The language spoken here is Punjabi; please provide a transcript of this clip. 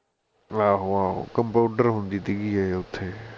ਆਹੋ ਆਹੋ compounder ਹੁੰਦੀ ਸੀ ਗੀ ਇਹ ਉੱਥੇ